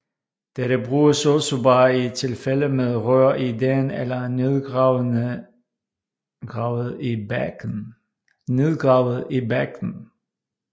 Dette bruges altså bare i tilfælde med rør i dagen eller nedgravede i bakken